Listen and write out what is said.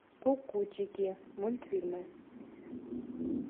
кукутики мультфильмы